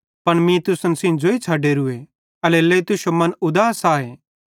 पन मीं तुसन सेइं ज़ोई छ़डेरूए एल्हेरेलेइ तुश्शो मन उदास आए